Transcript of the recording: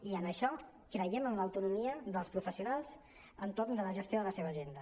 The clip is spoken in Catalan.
i en això creiem en l’autonomia dels professionals entorn de la gestió de la seva agenda